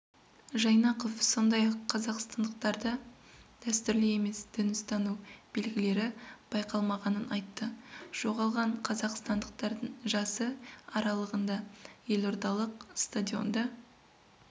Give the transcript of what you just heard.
жайнақов сондай-ақ қазақстандықтарда дәстүрлі емес дін ұстану белгілері байқалмағанын айтты жоғалған қазақстандықардың жасы аралығында елордалық стадионда